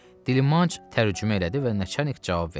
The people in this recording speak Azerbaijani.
Dilmanc tərcümə elədi və Nəçərnik cavab verdi.